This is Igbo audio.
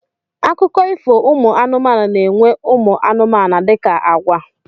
Akụkọ ifo ụmụ anụmanụ na-enwe ụmụ anụmanụ dịka àgwà.